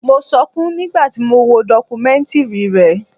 Mo sọkún nígbà tí mo wo dọkumẹ́ntìrì rẹ̀.